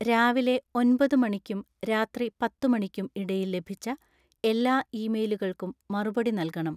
രാവിലെ ഒന്പതു മണിക്കും രാത്രി പത്തു മണിക്കും ഇടയിൽ ലഭിച്ച എല്ലാ ഇമെയിലുകൾക്കും മറുപടി നൽകണം